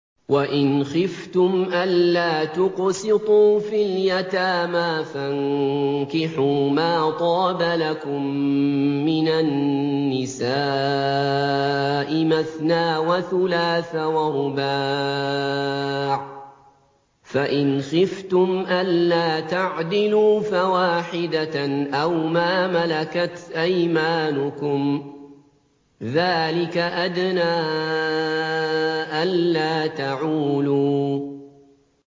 وَإِنْ خِفْتُمْ أَلَّا تُقْسِطُوا فِي الْيَتَامَىٰ فَانكِحُوا مَا طَابَ لَكُم مِّنَ النِّسَاءِ مَثْنَىٰ وَثُلَاثَ وَرُبَاعَ ۖ فَإِنْ خِفْتُمْ أَلَّا تَعْدِلُوا فَوَاحِدَةً أَوْ مَا مَلَكَتْ أَيْمَانُكُمْ ۚ ذَٰلِكَ أَدْنَىٰ أَلَّا تَعُولُوا